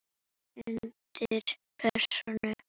Undir pressu.